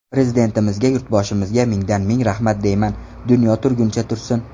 Prezidentimizga, yurtboshimizga mingdan-ming rahmat deyman, dunyo turguncha tursin!